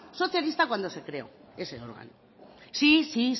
socialista cuando se creó ese órgano sí sí